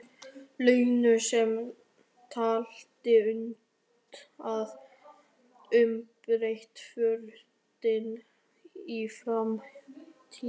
Lenu sem taldi unnt að umbreyta fortíð í framtíð.